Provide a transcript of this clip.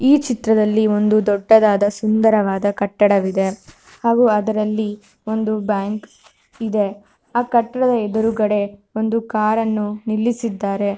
ಈ ಚಿತ್ರದಲ್ಲಿ ಒಂದು ದೊಡ್ಡದಾದ ಸುಂದರವಾದ ಕಟ್ಟಡವಿದೆ ಹಾಗು ಅದರಲ್ಲಿ ಒಂದು ಬ್ಯಾಂಕ್ ಇದೆ ಆ ಕಟ್ಟಡದ ಎದುರುಕಡೆ ಒಂದು ಕಾರನ್ನು ನಿಲ್ಲಿಸಿದ್ದಾರೆ.